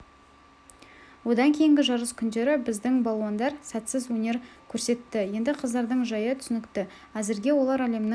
одан кейінгі жарыс күндері біздің балуандар сәтсіз өнер көрсетті енді қыздардың жайы түсінікті әзірге олар әлемнің